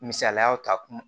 Misaliyaw ta kun